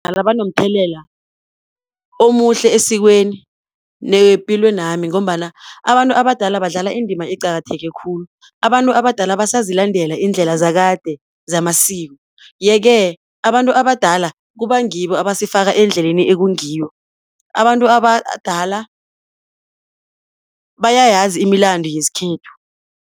Ingaba nomthelela omuhle esikweni nepilweni yami, ngombana abantu abadala badlala indima eqakatheke khulu. Abantu abadala basazilandela iindlela zakade zamasiko. Ye-ke abantu abadala kuba ngibo abasifaka endleleni ekungiyo, abantu abadala bayayazi imilando yesikhethu.